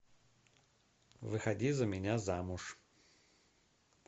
выходи за меня замуж